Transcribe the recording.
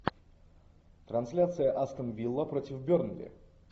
трансляция астон вилла против бернли